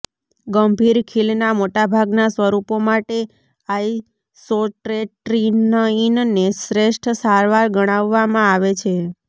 ગંભીર ખીલના મોટાભાગનાં સ્વરૂપો માટે આઇસોટ્રેટિનઇનને શ્રેષ્ઠ સારવાર ગણવામાં આવે છે